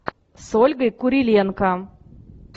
с ольгой куриленко